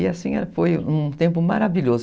E assim foi um tempo maravilhoso.